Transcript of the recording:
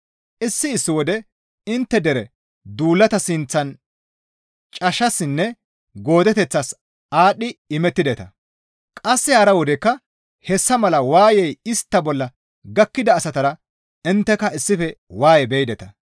Issi issi wode intte dere duulata sinththan cashshassinne goodeteththas aadhdhi imettideta; qasse hara wodekka hessa mala waayey istta bolla gakkida asatara intteka issife waaye beyideta.